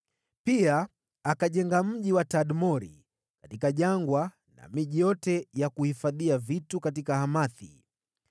Pia akajenga mji wa Tadmori katika jangwa na miji yote ya kuhifadhia vitu katika Hamathi.